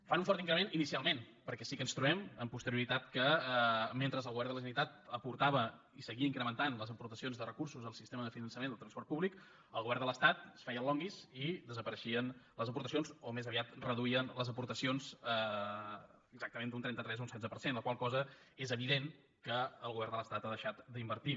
hi fan un fort increment inicialment perquè sí que ens trobem amb posterioritat que mentre el govern de la generalitat aportava i seguia incrementant les aportacions de recursos al sistema de finançament del transport públic el govern de l’estat es feia el longuis i desapareixien les aportacions o més aviat reduïen les aportacions exactament d’un trenta tres a un setze per cent amb la qual cosa és evident que el govern de l’estat hi ha deixat d’invertir